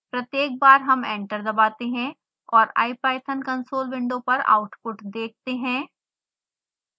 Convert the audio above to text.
प्रत्येक बार हम एंटर दबाते हैं और ipython console window पर आउटपुट देखते हैं